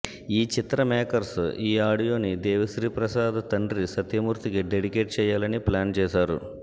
ఈ చిత్ర మేకర్స్ ఈ ఆడియో ని దేవిశ్రీప్రసాద్ తండ్రి సత్యమూర్తి కి డెడికేట్ చెయ్యాలని ప్లాన్ చేసారు